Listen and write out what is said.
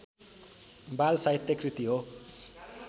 बालसाहित्य कृति हो